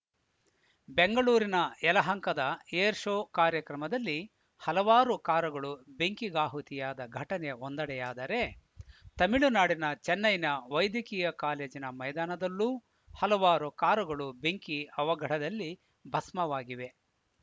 ಬೆಂಗಳೂರಿನ ಯಲಹಂಕದ air show ಕಾರ್ಯಕ್ರಮದಲ್ಲಿ ಹಲವಾರು ಕಾರುಗಳು ಬೆಂಕಿಗಾಹುತಿಯಾದ ಘಟನೆ ಒಂದೆಡೆಯಾದರೆ ತಮಿಳುನಾಡಿನ ಚೆನ್ನೈನ ವೈದ್ಯಕೀಯ ಕಾಲೇಜಿನ ಮೈದಾನದಲ್ಲೂ ಹಲವಾರು ಕಾರುಗಳು ಬೆಂಕಿ ಅವಘಡದಲ್ಲಿ ಭಸ್ಮವಾಗಿವೆ